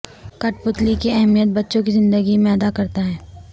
کٹھ پتلی کی اہمیت بچوں کی زندگی میں ادا کرتا ہے